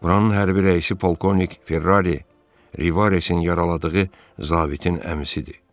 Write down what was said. Buranın hərbi rəisi polkovnik Ferrari Rivaresin yaraladığı zabitin əmisidir.